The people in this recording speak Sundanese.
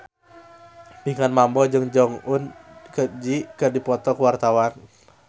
Pinkan Mambo jeung Jong Eun Ji keur dipoto ku wartawan